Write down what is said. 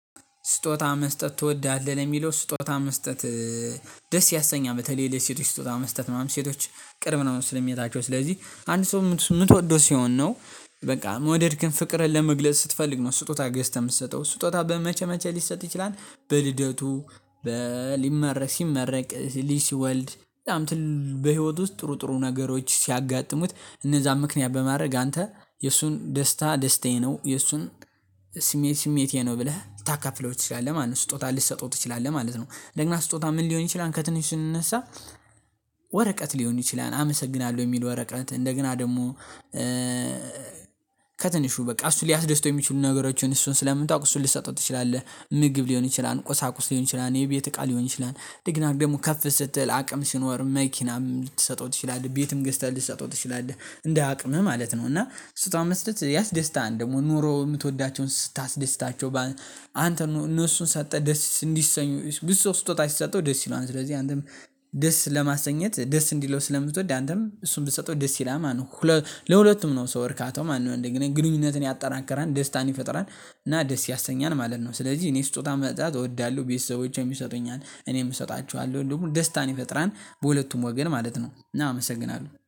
ስጦታ መስጠት ትወዳለህ? ነው የሚለው። ስጦታ መስጠት ደስ ያሰኛ፣ በተለይ ለሴቶች ስጦታ መስጠት ምናምን ሴቶች ቅርብ ስመታቸው። ስለዚህ አንድ ሰው የምትወደው ሲሆን ነው በቃ የምወደድክን፣ ፍቅርን ለመግለጽ ስትፈልግ ነው ስጦታ ገዝተህ የምትሰጠው። ስጦታ በ መቼ መቼ ሊሰጥ ይችላል? በልደቱ፣ ሊመረቅ፣ ሲመረቅ፣ ልጅ ሲወልድ፣ በህይወት ውስጥ ጥሩ ጥሩ ነገሮች ሲያጋጥሙት፤ እነዛን ምክንያት በማድረግ አንተ የእሱን ደስታ ደስታዬ ነው፤ የእሱን ስሜት ስሜቴ ነው ብለህ ታካፍለው ትችላለህ ማለት ነው። ስጦታ ልትሰጠው ትችላለህ ማለት ነው። ለእኛ ስጦታ ምን ሊሆን ይችላል ከትንሽ ስንነሳ ወረቀት ሊሆን ይችላል፣ አመሰግናለሁ የሚል ወረቀት። እንደገና ደግሞ ከትንሹ በቃ፣ እሱ ሊያስደስተው የሚችሉ ነገሮችን እሱን ስለምታውቁ እሱን ልትሰጡ ትችላለህ። ምግብ ሊሆን ይችላል፤ ቆሳቁስ ሊሆን ይችላል፤ የቤት እቃ ሊሆን ይችላል፣ ዲግናር ደግሞ ከፍ ስትል አቅም ሲኖር መኪናም ልትሰጠው ትችላለህ፤ ቤትም ገዝተህ ልትሰጠው ትችላለህ እንደ አቅምህ ማለት ነው። እና እሱን ታመስለት ያስደስታል ደግሞ ኑሮ የምትወዳቸውን ስታስደስታቸው አንተ ነው። እነሱ ሰጠህ ደስ እንዲሰኙ ብዙ ሰው ስጦታ አይሰጠው ደስ ይለዋል። ስለዚህ አንተም ደስ ለማሰኘት፤ ደስ እንዲለው ስለምትወድ አንተም እሱን ብትሰጠው ደስ ይላል ማለት ነው። ለሁለቱም ነው ሶ እርካታው ማነው። እንደግንኙነትን ያጠናከራል፤ ደስታን ይፈጥራል እና ደስ ያሰኛል ማለት ነው። ስለዚህ እኔ ስጦታ መሰጣጣት እወዳለሁ። ቤተሰቦቼም ይሰጡኛል፤ እኔም እሰጣችኋለሁ ደግሞ ደስታን ይፈጥራል። በሁለቱም ወገን ማለት ነው። እና አመሰግናለሁ።